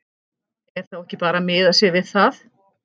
Er þá ekki bara að miða sig við það?